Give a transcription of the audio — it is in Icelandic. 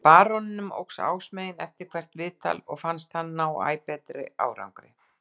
Baróninum óx ásmegin eftir hvert viðtal og fannst hann ná æ betri árangri.